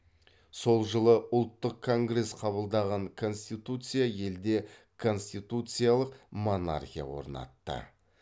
сол жылы ұлттық конгресс қабылдаған конституция елде конституциялық монархия орнатты